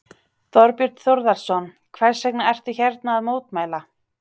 Þorbjörn Þórðarson: Hvers vegna ertu hérna að mótmæla?